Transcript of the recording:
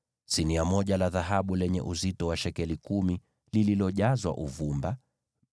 sinia moja la dhahabu lenye uzito wa shekeli kumi, likiwa limejazwa uvumba;